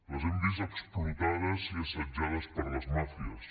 les hem vist explotades i assetjades per les màfies